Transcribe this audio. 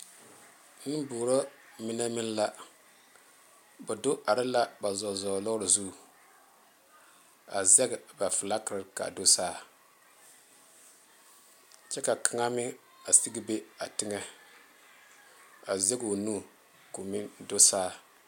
Nenboɔrɔ mine meŋ la ba do are la ba zɔɔzɔɔ lɔre zu a zaŋ ba fiilakere kaa do saa kyɛ ka kaŋa meŋ a sige be a teŋa a zaŋ o nu ko'o meŋ do saa.